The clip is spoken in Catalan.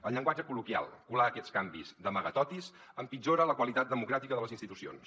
en llenguatge col·loquial colar aquests canvis d’amagatotis empitjora la qualitat democràtica de les institucions